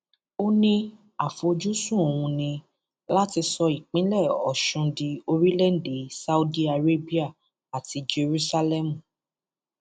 ó ní àfojúsùn òun ni láti sọ ìpínlẹ ọṣun di orílẹèdè saudi arabia àti jerúsálẹmù